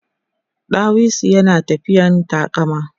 ɗawisun yana tafiyan taƙama